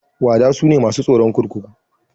Wada sune masu tsaron kurkuku.